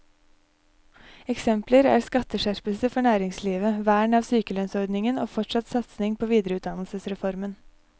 Eksempler er skatteskjerpelser for næringslivet, vern av sykelønnsordningen og fortsatt satsing på videreutdannelsesreformen.